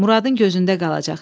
Muradın gözündə qalacaq.